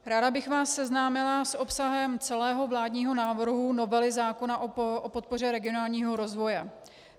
Ráda bych vás seznámila s obsahem celého vládního návrhu novely zákona o podpoře regionálního rozvoje.